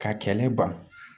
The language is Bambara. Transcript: Ka kɛlɛ ban